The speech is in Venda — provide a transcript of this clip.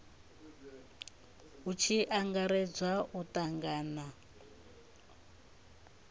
hu tshi angaredzwa u tangana